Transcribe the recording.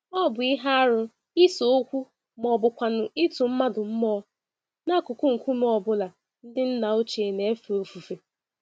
Ọ bụ ihe arụ ise-okwu mọbụkwanụ̀ ịtụ mmadụ mmụọ, n'akụkụ nkume ọ bụla ndị nna ochie n'éfè ofufe.